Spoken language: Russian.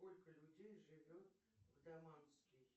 сколько людей живет в даманский